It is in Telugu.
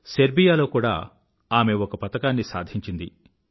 సెర్బియా లో కూడా ఆమె ఒక పతకాన్ని సాధించింది